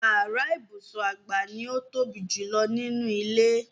Yàrá ibùsùn àgbà ni ó ń tóbi jù nínú ilé.